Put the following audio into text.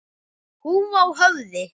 Húfa á höfði.